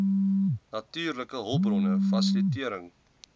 natuurlike hulpbronne fasilitering